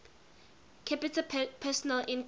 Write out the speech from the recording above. capita personal income